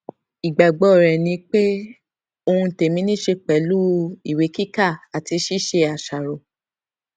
igbagbọ rẹ ni pe ohun tẹmi ni ṣe pẹlu iwekika ati ṣiṣe aṣaro